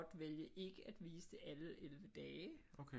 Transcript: Vælge ikke at vise det alle 11 dage